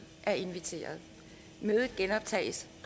er inviteret mødet genoptages